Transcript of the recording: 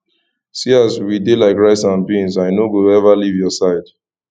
see as we dey like rice and bean i no go ever leave your side